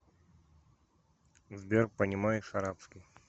сбер понимаешь арабский